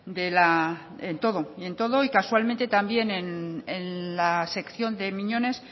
en todo y casualmente también en la sección de miñones